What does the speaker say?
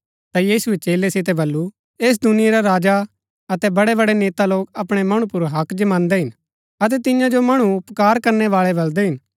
ता यीशुऐ चेलै सितै बल्लू ऐस दुनिया रै राजा अतै बड़ैबड़ै नेता लोग अपणै मणु पुर हक्क जमांदै हिन अतै तियां जो मणु उपकार करनै बाळै बलदै हिन